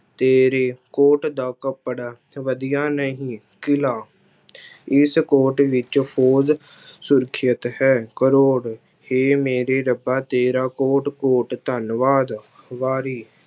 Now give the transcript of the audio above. ਤੇਰੇ ਕੋਟ ਦਾ ਕੱਪੜਾ ਵਧੀਆ ਨਹੀਂ, ਕਿਲ੍ਹਾ ਇਸ ਕੋਟ ਵਿੱਚ ਫੂਲ ਸਰੁੱਖਿਤ ਹੈ ਕਰੌੜ ਹੇ ਮੇਰੇ ਰੱਬਾ ਤੇਰਾ ਕੋਟ ਕੋਟ ਧੰਨਵਾਦ, ਵਾਰੀ